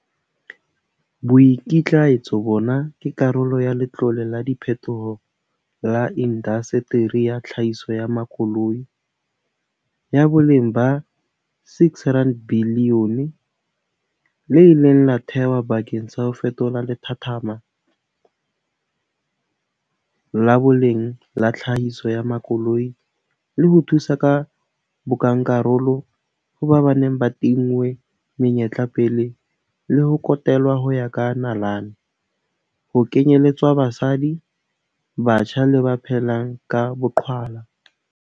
Boikitlaetso bona ke karolo ya Letlole la Diphethoho la Indaseteri ya Tlhahiso ya Makoloi, ya boleng ba R6 bilione, le ileng la thehwa bakeng sa ho fetola lethathama la boleng la tlhahiso ya makoloi le ho thusa ka bonkakarolo ho ba ba neng ba tinngwe menyetla pele le ho kotelwa ho ya ka nalane, ho kenyeletswa basadi, batjha le ba phelang ka boqhwala.